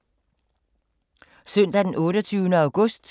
Søndag d. 28. august 2016